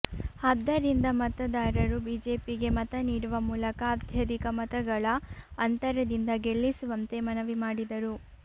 ಆದ್ದರಿಂದ ಮತದಾರರು ಬಿಜೆಪಿಗೆ ಮತನೀಡುವ ಮೂಲಕ ಅತ್ಯಧಿಕ ಮತಗಳ ಅಂತರದಿಂದ ಗೆಲ್ಲಿಸುವಂತೆ ಮನವಿ ಮಾಡಿದರು